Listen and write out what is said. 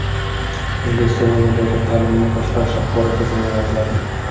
O‘zbekistonda nodavlat ta’limni boshqarish axborot tizimi yaratiladi.